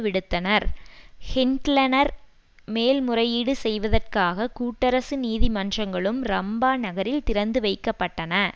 விடுத்தனர் ஷிண்ட்லர்கள் மேல்முறையீடு செய்வதற்காக கூட்டரசு நீதிமன்றங்களும் ரம்பா நகரில் திறந்து வைக்க பட்டன